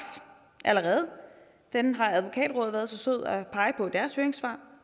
allerede den har advokatrådet været så sød at pege på i deres høringssvar